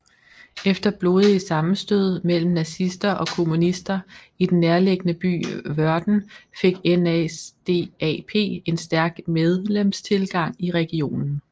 Efter blodige sammenstød mellem nazister og kommunister i den nærliggende by Wöhrden fik NSDAP en stærk medlemstilgang i regionen